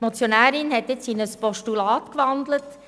Die Motionärin hat nun in ein Postulat gewandelt;